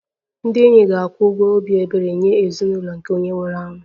Ndị enyi ga-akwụ ụgwọ obi ebere nye ezinụlọ nke onye nwụrụ anwụ